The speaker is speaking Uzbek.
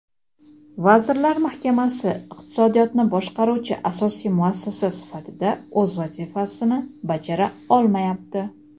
Vazirlar Mahkamasi iqtisodiyotni boshqaruvchi asosiy muassasa sifatida o‘z vazifasini bajara olmayapti.